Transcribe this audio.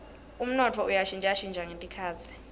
umnotfo uya shintjashintja netikhatsi